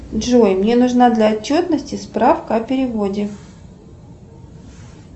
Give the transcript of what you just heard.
джой мне нужна для отчетности справка о переводе